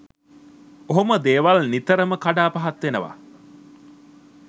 ඔහොම දේවල් නිතරම කඩා පහත් වෙනව.